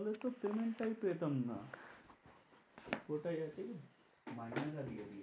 তো payment টাই পেতাম না মাইনেটা দিয়ে দিয়েছে।